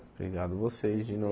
Obrigado vocês, de